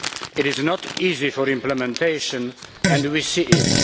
It is not easy for implementation and we see it.